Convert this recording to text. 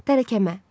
Tərəkəmə.